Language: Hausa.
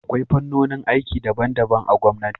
Akwai fannonin aiki daban-daban a gwamnati.